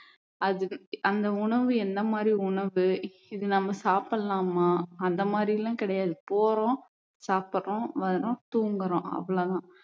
அது அந்த உணவு எந்த மாதிரி உணவு இது நம்ம சாப்பிடலாமா அந்த மாதிரி எல்லாம் கிடையாது போறோம் சாப்பிடுறோம் வர்றோம் தூங்குறோம் அவ்வளவுதான்